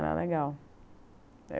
Era legal.